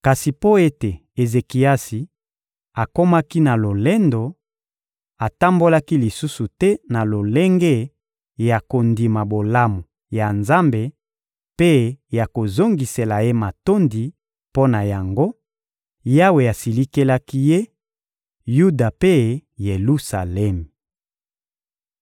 Kasi mpo ete Ezekiasi akomaki na lolendo, atambolaki lisusu te na lolenge ya kondima bolamu ya Nzambe mpe ya kozongisela Ye matondi; mpo na yango, Yawe asilikelaki ye, Yuda mpe Yelusalemi.